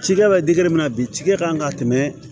Cikɛ bɛ dikɛ mina bi cikɛ kan ka tɛmɛ